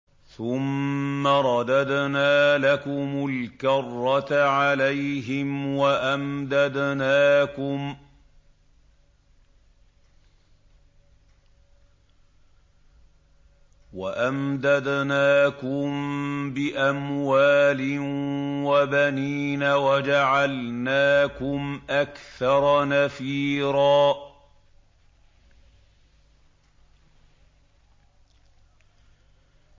ثُمَّ رَدَدْنَا لَكُمُ الْكَرَّةَ عَلَيْهِمْ وَأَمْدَدْنَاكُم بِأَمْوَالٍ وَبَنِينَ وَجَعَلْنَاكُمْ أَكْثَرَ نَفِيرًا